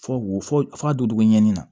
Fɔ wo f'a don togo ɲɛni na